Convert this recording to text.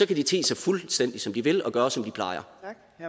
kan de te sig fuldstændig som de vil og gøre som de plejer